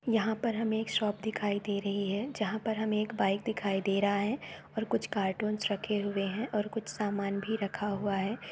यहाँ पर हमें एक शॉप दिखाई दे रही है जहाँ पर हमें एक बाइक दिखाई दे रहा है और कुछ कार्टून रखे हुए हैं और कुछ सामान भी रखा हुआ है।